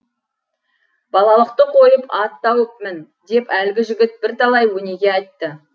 балалықты қойып ат тауып мін деп әлгі жігіт бір талай өнеге айтты